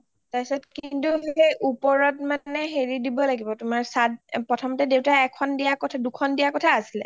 কিন্তু ওপৰত মানে হেৰি দিব লাগিব তোমাৰ চাত, প্ৰথমতে দেউতাই এখন দিয়া কথা , দুখন দিয়া কথা আছিলে